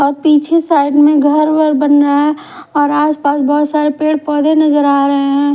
और पीछे साइड में घर वर बनरा है और आस पास बोहोत सारे पेड़ पोधे नज़र आरे है।